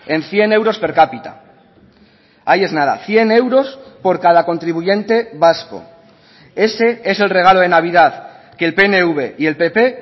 en cien euros per cápita ahí es nada cien euros por cada contribuyente vasco ese es el regalo de navidad que el pnv y el pp